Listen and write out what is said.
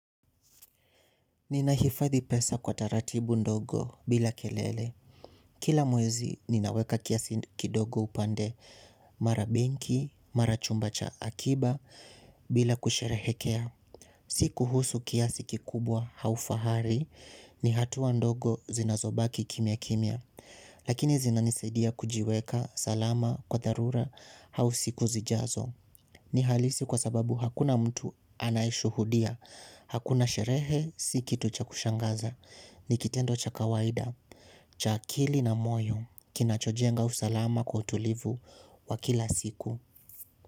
Ninahifadhi pesa kwa taratibu ndogo bila kelele. Kila mwezi ninaweka kiasi kidogo upande mara benki, mara chumba cha akiba bila kusherehekea. Sikuhusu kiasi kikubwa au fahari ni hatuwa ndogo zinazobaki kimya kimya. Lakini zinanisaidia kujiweka salama kwa dharura au siku zijazo. Ni halisi kwa sababu hakuna mtu anayeshuhudia, hakuna sherehe, si kitu cha kushangaza, ni kitendo cha kawaida, cha akili na moyo, kinachojenga usalama kwa utulivu wa kila siku.